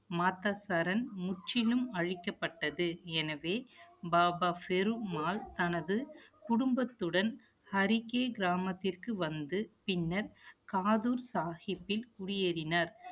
மாதா சரண் முற்றிலும் அழிக்கப்பட்டது. எனவே, பாபா ஃபெரு மால் தனது குடும்பத்துடன், ஹரிக்கி கிராமத்திற்கு வந்து, பின்னர், காதூர் சாகிப்பில் குடியேறினார்